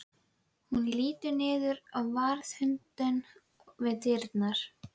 Þetta litskrúðuga handrit hefur skrifað hinn mikilvirki fræðimaður